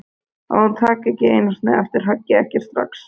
Að hún taki ekki einu sinni eftir höggi, ekki strax.